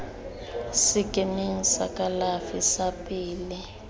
sekemeng sa kalafi sa pele